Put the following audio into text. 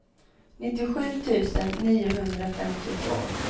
nittiosju tusen niohundrafemtiotvå